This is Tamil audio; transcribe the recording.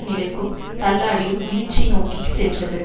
நிலைக்கும் தள்ளாடியும் வீழ்ச்சி நோக்கி சென்றது